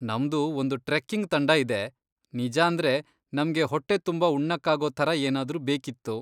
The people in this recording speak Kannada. ನಮ್ದು ಒಂದು ಟ್ರೆಕ್ಕಿಂಗ್ ತಂಡ ಇದೆ, ನಿಜಾಂದ್ರೆ ನಮ್ಗೆ ಹೊಟ್ಟೆ ತುಂಬಾ ಉಣ್ಣಕ್ಕಾಗೋ ಥರ ಏನಾದ್ರೂ ಬೇಕಿತ್ತು.